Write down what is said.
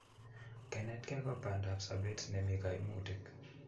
Kenetkei ko pandaap sopet nemi kaimutik